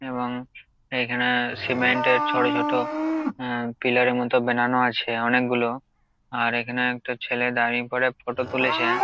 এবং এখানে সিমেন্ট -এর ছোট ছোট আ পিলার -এর মত বেনানো আছে অনেকগুলো আর এখানে একটা ছেলে দাঁড়িয়ে পরে ফটো তুলেছে।